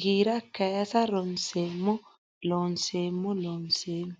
giira kaysa ronseemmo Looseemmo Looseemmo.